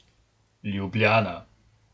Ljubljana.